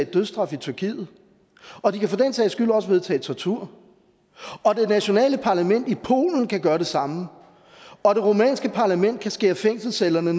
dødsstraf i tyrkiet og de kan for den sags skyld også vedtage at indføre tortur og det nationale parlament i polen kan gøre det samme og det rumænske parlament kan skære fængselscellernes